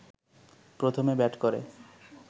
প্রথমে ব্যাট করে